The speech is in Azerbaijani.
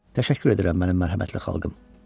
Təşəkkür edirəm mənim mərhəmətli xalqım.